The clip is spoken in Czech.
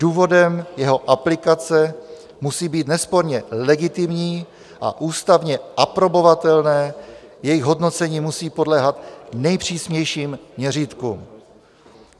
Důvody jeho aplikace musí být nesporně legitimní a ústavně aprobovatelné, jejich hodnocení musí podléhat nejpřísnějším měřítkům.